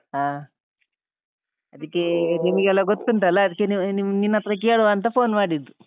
ಹ ಅದಿಕ್ಕೇ ನಿಮ್ಗೆಲ್ಲ ಗೊತ್ತುಂಟಲ್ಲಾ ಅದಕ್ಕೆ ನೀವ್~ ನಿನ್ಹತ್ರ ಕೇಳುವಾಂತ phone ಮಾಡಿದ್ದು.